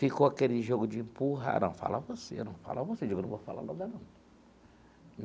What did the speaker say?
Ficou aquele jogo de empurrar, não, fala você, fala você, digo, eu não vou falar nada, não.